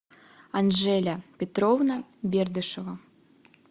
анжеля петровна бердышева